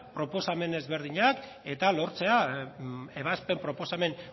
proposamen ezberdinak eta lortzea ebazpen proposamen